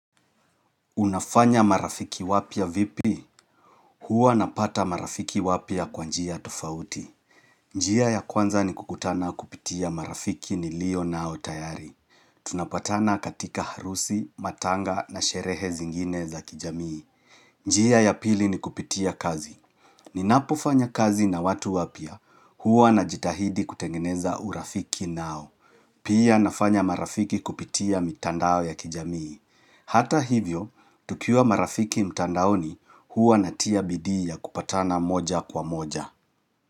Unafanya marafiki wapia vipi? Huwa napata marafiki wapya kwanjia tofauti. Njia ya kwanza ni kukutana kupitia marafiki nilio nao tayari. Tunapatana katika harusi, matanga na sherehe zingine za kijamii. Njia ya pili ni kupitia kazi. Ninapofanya kazi na watu wapya. Huwa najitahidi kutengeneza urafiki nao. Pia nafanya marafiki kupitia mitandao ya kijamii. Hata hivyo, tukiwa marafiki mtandaoni huwa natia bidii ya kupatana moja kwa moja.